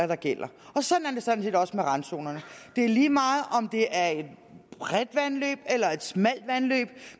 der gælder sådan er det sådan set også med randzonerne det er lige meget om det er et bredt vandløb eller et smalt vandløb